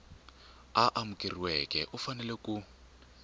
a amukeriweke u fanele ku